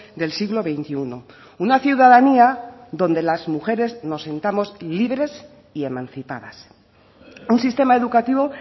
del siglo veintiuno una ciudadanía donde las mujeres nos sintamos libres y emancipadas un sistema educativo